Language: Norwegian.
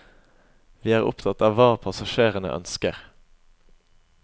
Vi er opptatt av hva passasjerene ønsker.